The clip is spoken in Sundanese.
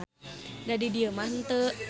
Da di dieu mah henteu.